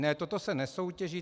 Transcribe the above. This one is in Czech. Ne, toto se nesoutěží.